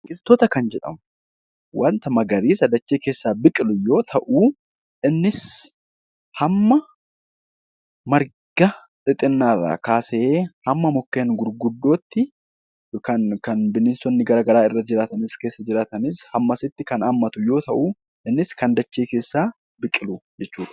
Biqiloota kan jedhamu wanta magariisa dachee keessaa biqilu yoo ta'u, innis hamma marga xixiqqaa irraa kaasee hamma mukkeen gurguddaatti kan bineensonni garaagaraa irra jiraatan yoo ta'u, innis dachee keessaa kan biqilu jechuudha.